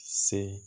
Se